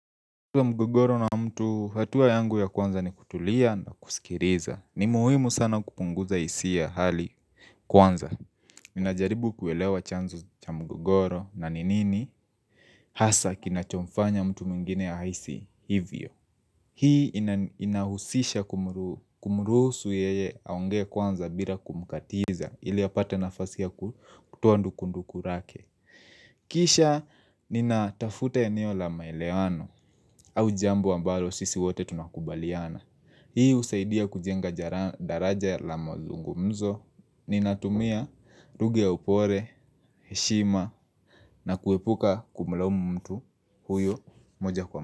Mgogoro na mtu hatua yangu ya kwanza ni kutulia na kusikiliza ni muhimu sana kupunguza hisia ya hali kwanza Ninajaribu kuelewa chanzo cha mgogoro na ni nini Hasa kinachomfanya mtu mwingine ahisi hivyo Hii inahusisha kumruhusu yeye aongee kwanza bila kumkatiza ili apate nafasi ya kutoa ndukunduku lake Kisha nina tafuta eneo la maelewano au jambo ambalo sisi wote tunakubaliana Hii usaidia kujenga daraja la mazungumzo Ninatumia lugha ya upole, heshima na kuepuka kumlaumu mtu huyo moja kwa moja.